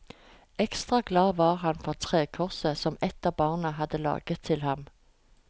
Ekstra glad var han for trekorset som et av barna hadde laget til ham.